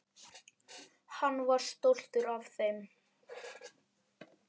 Hann var stoltur af þeim.